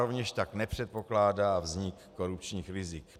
Rovněž tak nepředpokládá vznik korupčních rizik.